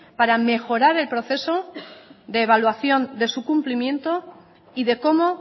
para mejorar el proceso de evaluación de su cumplimiento y de cómo